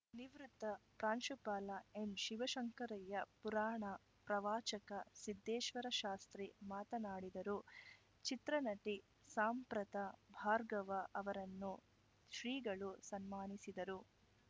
ನಿವೃತ್ತ ಪ್ರಾಂಶುಪಾಲ ಎಂಶಿವಶಂಕರಯ್ಯ ಪುರಾಣ ಪ್ರವಾಚಕ ಸಿದ್ದೇಶ್ವರಶಾಸ್ತ್ರಿ ಮಾತನಾಡಿದರು ಚಿತ್ರನಟಿ ಸಾಂಪ್ರತ ಭಾರ್ಗವ ಅವರನ್ನು ಶ್ರೀಗಳು ಸನ್ಮಾನಿಸಿದರು